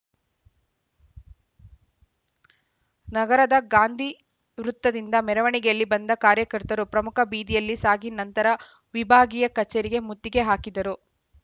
ನಗರದ ಗಾಂಧಿ ವೃತ್ತದಿಂದ ಮೆರವಣಿಗೆಯಲ್ಲಿ ಬಂದ ಕಾರ್ಯಕರ್ತರು ಪ್ರಮುಖ ಬೀದಿಯಲ್ಲಿ ಸಾಗಿ ನಂತರ ವಿಭಾಗೀಯ ಕಚೇರಿಗೆ ಮುತ್ತಿಗೆ ಹಾಕಿದರು